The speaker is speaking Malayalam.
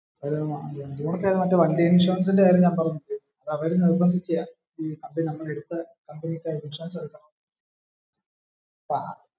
ഒരു വണ്ടി ഇൻഷുറൻസിന്റെ കാര്യം ഞൻ പറഞ്ഞില്ലേ. അത് അവര് നിര്ബന്ധിച്ചതാ. അച്ചനും അമ്മയും കൂടി എടുതത്തു തന്നതാ